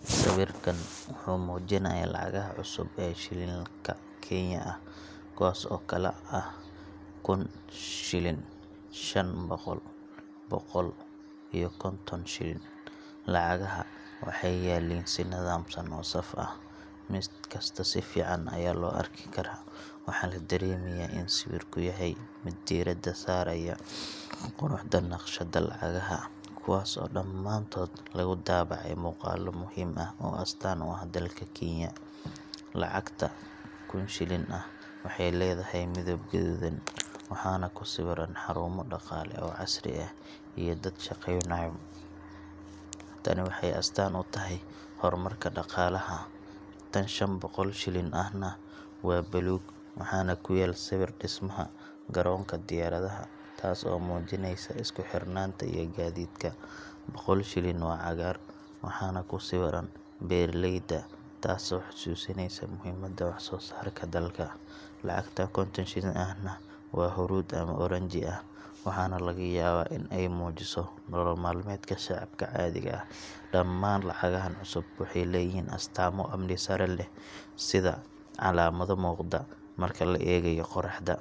Sawirkan wuxuu muujinayaa lacagaha cusub ee shilin-ka Kenya ah, kuwaas oo kala ah: kun , shan boqol, boqol iyo konton shilin. Lacagaha waxay yaalliin si nidaamsan oo saf ah, mid kasta si fiican ayaa loo arki karaa. Waxaa la dareemayaa in sawirku yahay mid diiradda saaraya quruxda naqshadda lacagaha, kuwaas oo dhamaantood lagu daabacay muuqaallo muhim ah oo astaan u ah dalka Kenya. Lacagta kun shilin ah waxay leedahay midab guduudan, waxaana ku sawiran xarumo dhaqaale oo casri ah iyo dad shaqeynaya. Tani waxay astaan u tahay horumarka dhaqaalaha. Tan 500 shilin ahna waa buluug, waxaana ku yaal sawirka dhismaha garoonka diyaaradaha – taas oo muujineysa isku xirnaanta iyo gaadiidka. Boqolka shilin waa cagaar, waxaana ku sawiran beeraleyda – taasoo xasuusinaysa muhiimadda wax-soo-saarka dalka. Lacagta 50-ka shilin ahna waa huruud ama oranji ah, waxaana laga yaabaa in ay muujiso nolol maalmeedka shacabka caadiga ah. Dhammaan lacagahan cusub waxay leeyihiin astaamo amni sare leh, sida calaamado muuqda marka la eegayo qoraxda,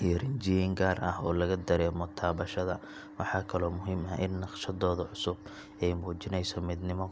iyo rinjiyeyn gaar ah oo laga dareemo taabashada. Waxaa kaloo muhiim ah in naqshaddooda cusub ay muujinayso midnimo.